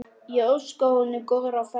Ég óska honum góðrar ferðar.